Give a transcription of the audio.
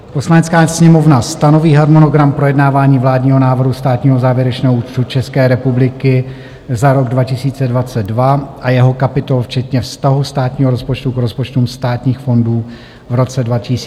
"Poslanecká sněmovna stanoví harmonogram projednávání vládního návrhu státního závěrečného účtu České republiky za rok 2022 a jeho kapitol včetně vztahu státního rozpočtu k rozpočtům státních fondů v roce 2022 takto: